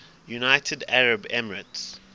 united arab emirates